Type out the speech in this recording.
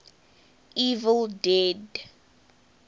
evil dead